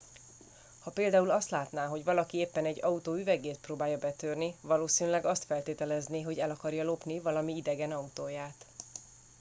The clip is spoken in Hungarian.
ha például azt látná hogy valaki éppen egy autó üvegét próbálja betörni valószínűleg azt feltételezné hogy el akarja lopni valami idegen autóját